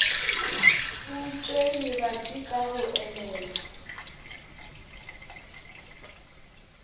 butše lebati ka go elelwa